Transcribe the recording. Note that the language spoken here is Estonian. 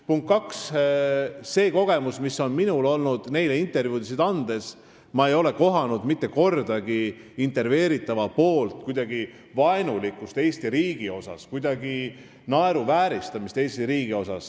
Punkt kaks, see kogemus, mis on minul olnud neile intervjuusid andes, on selline, et ma ei ole mitte kordagi kohanud intervjueerija vaenulikkust Eesti riigi vastu ega Eesti riigi naeruvääristamist.